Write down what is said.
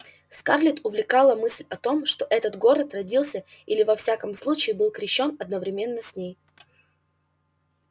скарлетт увлекала мысль о том что этот город родился или во всяком случае был крещён одновременно с ней